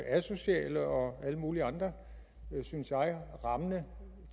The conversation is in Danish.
asociale og alle mulige andre rammende